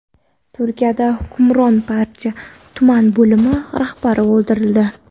Turkiyada hukmron partiya tuman bo‘limi rahbari o‘ldirildi.